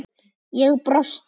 Ég brosti.